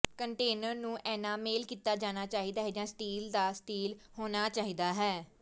container ਨੂੰ enamel ਕੀਤਾ ਜਾਣਾ ਚਾਹੀਦਾ ਹੈ ਜਾਂ ਸਟੀਲ ਦਾ ਸਟੀਲ ਹੋਣਾ ਚਾਹੀਦਾ ਹੈ